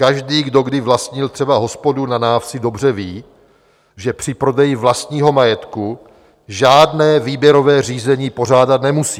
Každý, kdo kdy vlastnil třeba hospodu na návsi, dobře ví, že při prodeji vlastního majetku žádné výběrové řízení pořádat nemusí.